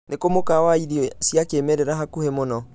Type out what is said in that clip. ni kũ mũkawa wa irĩo cĩa kiĩmerera hakũhĩ mũno